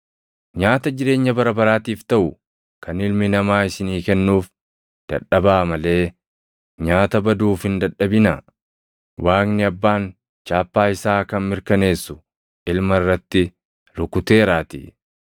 Nyaata jireenya bara baraatiif taʼu kan Ilmi Namaa isinii kennuuf dadhabaa malee nyaata baduuf hin dadhabinaa. Waaqni Abbaan chaappaa isaa kan mirkaneessu Ilma irratti rukuteeraatii.”